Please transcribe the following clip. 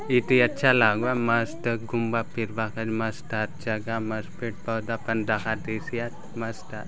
इति अच्छा लागुआत मस्त घुमबा फिरबा काजे मस्त आत जगह मस्त पेड़ - पौधा पने दखा देयसी आचे मस्त आत।